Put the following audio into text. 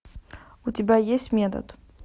у тебя есть метод